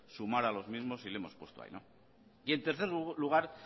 sumar a los mismos y le hemos puesto ahí y en tercer lugar